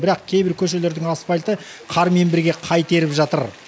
бірақ кейбір көшелердің асфальті қармен бірге қайта еріп жатыр